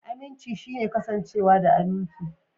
Aminci shine kasancewa da aminci.